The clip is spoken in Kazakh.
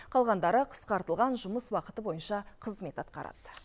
қалғандары қысқартылған жұмыс уақыты бойынша қызмет атқарады